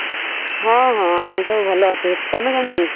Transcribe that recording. ହଁ ହଁ ଆମେ ସବୁ ଅଛୁ। ତମେ କେମିତି?